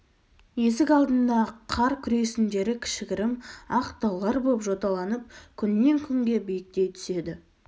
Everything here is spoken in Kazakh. есік алдындағы қар күресіндері кішігірім ақ таулар боп жоталанып күннен-күнге биіктей түседі